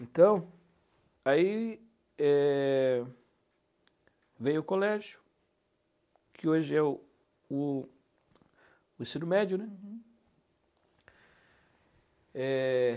Então, aí é veio o colégio, que hoje é o o ensino médio. É...